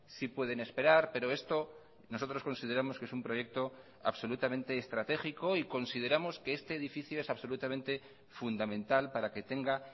sí pueden esperar pero esto nosotros consideramos que es un proyecto absolutamente estratégico y consideramos que este edificio es absolutamente fundamental para que tenga